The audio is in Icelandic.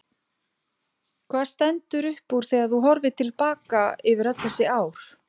Hvað stendur upp úr þegar þú horfir til baka yfir öll þessi ár?